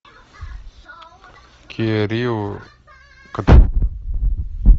киа рио